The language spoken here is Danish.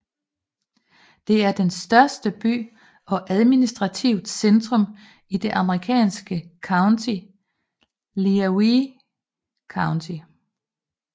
Det er den største by og administrativt centrum i det amerikanske county Lenawee County